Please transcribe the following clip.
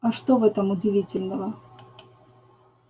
а что в этом удивительного